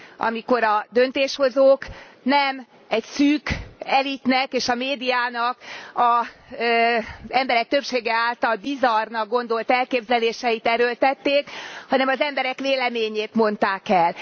Amikor a döntéshozók nem egy szűk elitnek és a médiának az emberek többsége által bizarrnak gondolt elképzeléseit erőltették, hanem az emberek véleményét mondták el.